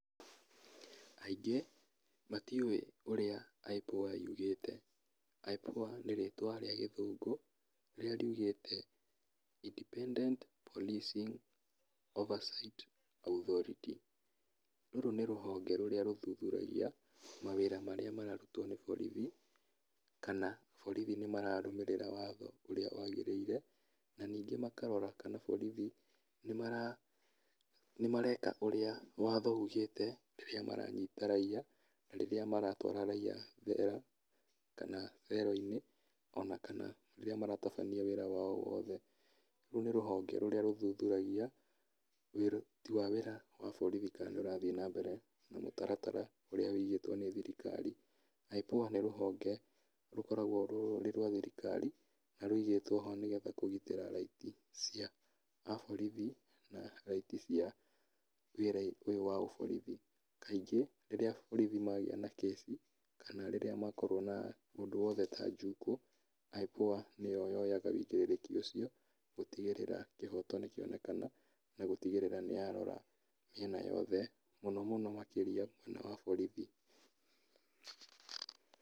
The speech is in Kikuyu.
Aingĩ, matiũĩ ũrĩa IPOA yugĩte, IPOA nĩ rĩtwa rĩa gĩthũngũ rĩrĩa riugĩte, Independent Policing Oversight Authority, rũrũ nĩ rũhonge rũrĩa rũthuthuragia mawĩra marĩa mararutwo nĩ borithi, kana borithi nĩmararũmĩrĩra watho ũrĩa wagĩrĩire, na ningĩ makarora kana borithi nímara, nĩmareka ũrĩa watho ugĩte rĩrá maranyita raiya, na rĩrĩa maratwara raiya thero, kana thero-inĩ, ona akna rĩrĩa maratabania wĩra wao wothe, rũu nĩ rũhonge rũrĩa rũthuthuragia ũruti wĩra wa bũrũri ka nĩũrathi nambere na mũtaratara ũrĩa wũigĩtwo nĩ thirikari, IPOA nĩ rũhonge, rũkoragwo rũrĩ rwa thirikari, na rũigĩtwo ho nĩgetha kũgitĩra raiti cia aborithi, na raiti cia wĩra ũyũ wa ũborithi, kaingĩ, rĩrĩa borithi magĩa na kĩci, kana rĩrĩa makorwo na ũndũ wothe ta njukũ, IPOA nĩyo yoyaga wũigĩrĩrĩki ũcio, gũtigĩrĩra kĩhoto nĩkĩonekana, na gũtigĩrĩra nĩyarora mĩena yothe mũno mũno makĩria mwena wa borithi.